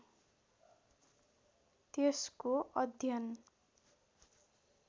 त्यसको अध्ययन